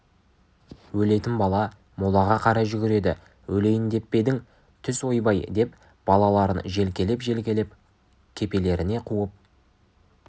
өлетін бала молаға қарай жүгіреді өлейін деп пе едің түс ойбай деп балаларын желкелеп-желкелеп кепелеріне қуып